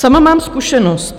Sama mám zkušenost.